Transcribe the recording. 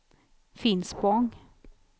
Finspång